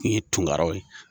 I ye Tunkaraw ye.